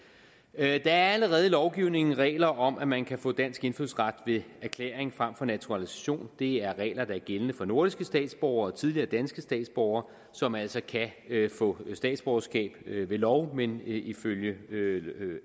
er allerede lovgivning og regler om at man kan få dansk indfødsret ved erklæring frem for naturalisation det er regler der er gældende for nordiske statsborgere og tidligere danske statsborgere som altså kan få statsborgerskab ved lov men ifølge